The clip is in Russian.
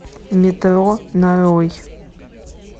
метро нарой